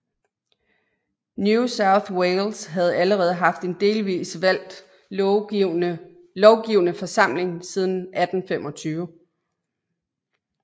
New South Wales havde allerede haft en delvis valgt lovgivende forsamling siden 1825